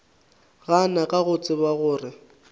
gana ka go tseba gore